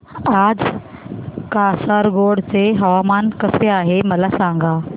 आज कासारगोड चे हवामान कसे आहे मला सांगा